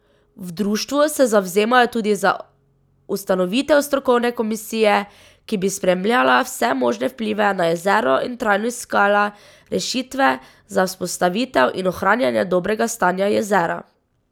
V društvu se zavzemajo tudi za ustanovitev strokovne komisije, ki bi spremljala vse možne vplive na jezero in trajno iskala rešitve za vzpostavitev in ohranjanje dobrega stanja jezera.